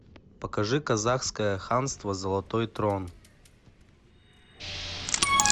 покажи казахское ханство золотой трон